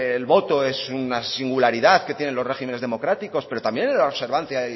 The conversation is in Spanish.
el voto es una singularidad que tienen los régimenes democráticos pero también es la observancia